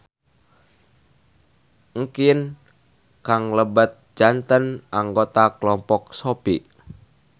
Engkin Kang lebet janten anggota kelompok Sopi.